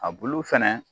A bulu fɛnɛ